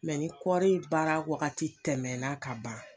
ni kɔɔri in baara waagati tɛmɛna ka ban.